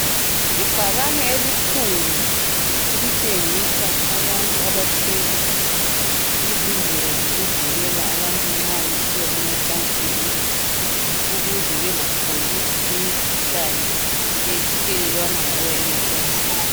Ibhakane elikhulu elitshengisa abantu abathwele izindlela zokuvikela abantu nxa besiya emacansini ukuze bangatholi imikhuhlane ethelelwana ngokuye macansini